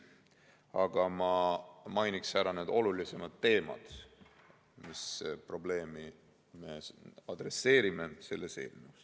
Aga ma mainin ära olulisemad teemad, selle, mis probleemi me selle eelnõuga adresseerime.